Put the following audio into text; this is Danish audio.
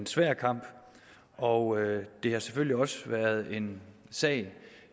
svær kamp og det har selvfølgelig også været en sag